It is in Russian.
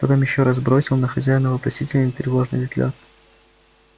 потом ещё раз бросил на хозяина вопросительный и тревожный взгляд